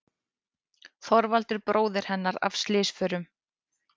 Þorvaldur bróðir hennar af slysförum.